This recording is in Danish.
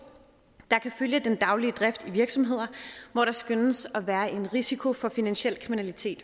der kan følge den daglige drift i virksomheder hvor der skønnes at være en risiko for finansiel kriminalitet